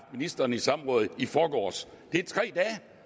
ministeren i samråd i forgårs